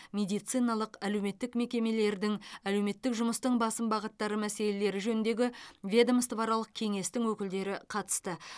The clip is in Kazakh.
медициналық әлеуметтік мекемелердің әлеуметтік жұмыстың басым бағыттары мәселелері жөніндегі ведомствоаралық кеңестің өкілдері қатысты